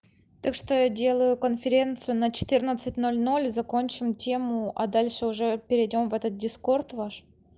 так что я делаю конференцию на четырнадцать ноль ноль закончим тему а дальше уже перейдём в этот дискорд ваш